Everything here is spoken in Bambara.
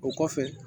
O kɔfɛ